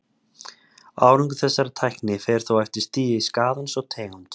Árangur þessarar tækni fer þó eftir stigi skaðans og tegund.